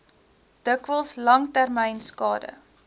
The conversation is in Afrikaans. dikwels langtermyn skade